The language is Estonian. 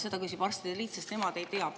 Seda küsib arstide liit, sest nemad ei tea.